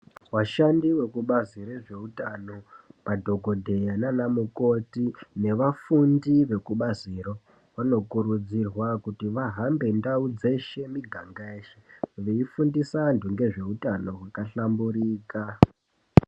Vashandi vezekubazi rezveutano madhokodheya nana mukoti nevafundi vekubazi ro vanokurudzirwa kuzi vahambe ndau dzeshe muganga yeshe veifundisa antu ngezveutano hwakahlamburika.